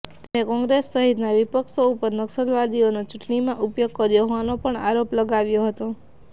તેમણે કોંગ્રેસ સહિતના વિપક્ષો ઉપર નક્સલવાદીઓનો ચૂંટણીમાં ઉપયોગ કર્યો હોવાનો પણ આરોપ લગાવ્યો હતો